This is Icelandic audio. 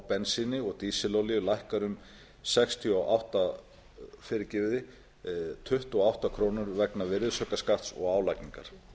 bensíni og dísilolíu lækkar um tuttugu og átta krónur vegna virðisaukaskatts og álagningar